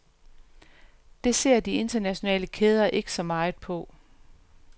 Det ser de internationale kæder ikke så meget på.